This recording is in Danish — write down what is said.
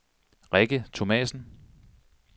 Rikke Thomassen